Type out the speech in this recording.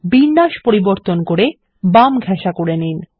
বিন্যাস পরিবর্তন করে বাম ঘেঁসা করে নিন